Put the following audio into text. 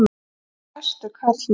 Mjög æstur karlmaður.